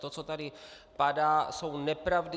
To, co tady padá, jsou nepravdy.